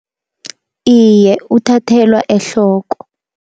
Iye uthathelwa ehloko.